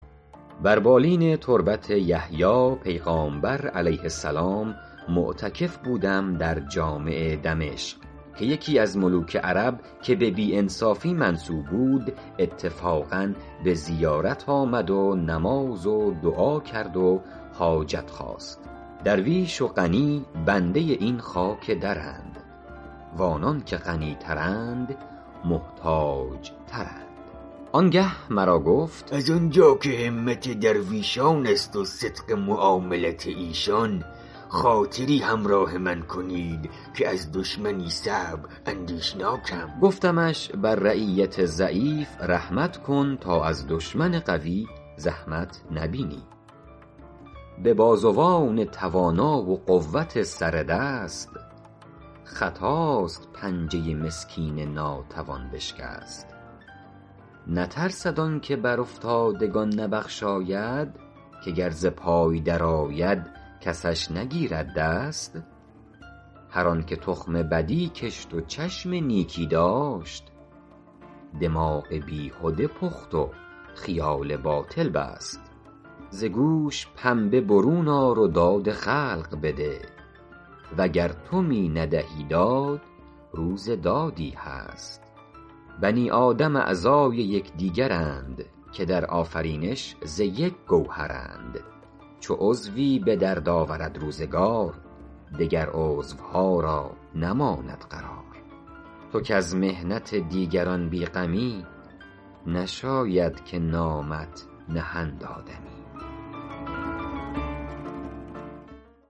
بر بالین تربت یحیی پیغامبر -علیه السلام- معتکف بودم در جامع دمشق که یکی از ملوک عرب که به بی انصافی منسوب بود اتفاقا به زیارت آمد و نماز و دعا کرد و حاجت خواست درویش و غنی بنده این خاک درند و آنان که غنی ترند محتاج ترند آن گه مرا گفت از آن جا که همت درویشان است و صدق معاملت ایشان خاطری همراه من کنید که از دشمنی صعب اندیشناکم گفتمش بر رعیت ضعیف رحمت کن تا از دشمن قوی زحمت نبینی به بازوان توانا و قوت سر دست خطاست پنجه مسکین ناتوان بشکست نترسد آن که بر افتادگان نبخشاید که گر ز پای در آید کسش نگیرد دست هر آن که تخم بدی کشت و چشم نیکی داشت دماغ بیهده پخت و خیال باطل بست ز گوش پنبه برون آر و داد خلق بده وگر تو می ندهی داد روز دادی هست بنی آدم اعضای یکدیگرند که در آفرینش ز یک گوهرند چو عضوی به درد آورد روزگار دگر عضوها را نماند قرار تو کز محنت دیگران بی غمی نشاید که نامت نهند آدمی